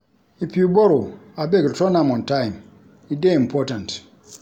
If you borrow, abeg return am on time. E dey important.